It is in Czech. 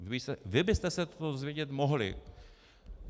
Vy byste se to dozvědět mohli.